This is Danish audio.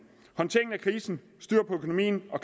håndtering af krisen styr på økonomien og